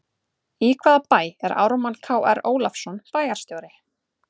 Í hvaða bæ er Ármann Kr Ólafsson bæjarstjóri?